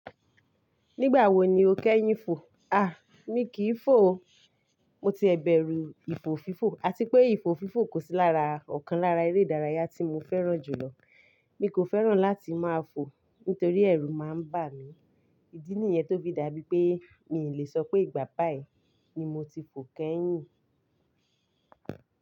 Nígbà wo ni o kẹ́yìn fò? A! Mí kìí fò o. Mo ti ẹ̀ bẹ̀rù ìfò fífò àti pé ìfò fífò kò sí lára ọ̀kan lára eré ìdárayá tí mo fẹ́ràn jù lọ. Mí kò fẹ́ràn láti máa fò nítorí ẹrù máa ń bà mí. Ìdí nìyẹn tó fi dàbí pé mi lè sọ pé ìgbà páì ni mo ti fò kẹ́yìn.